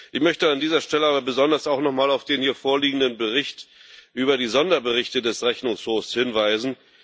Ich möchte an dieser Stelle aber besonders auch noch mal auf den mir vorliegenden Bericht über die Sonderberichte des Rechnungshofs hinweisen.